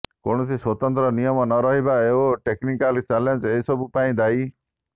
କୌଣସି ସ୍ୱତନ୍ତ୍ର ନିୟମ ନ ରହିବା ଓ ଟେକନିକାଲ ଚ୍ୟାଲେଞ୍ଜ ଏସବୁ ପାଇଁ ଦାୟୀ